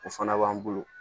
O fana b'an bolo